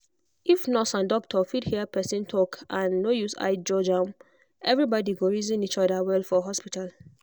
if nurse and doctor fit hear person talk and no use eye judge am everybody go reason each other well for hospital.